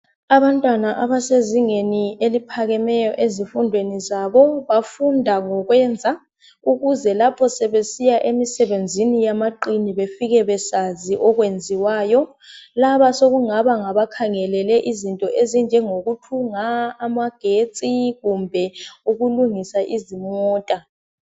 Abantwana abasezingeni eliphakemeyo ezifundweni zabo bafunda ngokwenza ukuze lapho sebesiya emisebenzini yamaqini befike besazi okwenziwayo laba sekungaba ngabakhangelele izinto ezinjengokuthunga, amagetsi kumbe ukulungisa izimota.